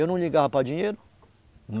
Eu não ligava para dinheiro.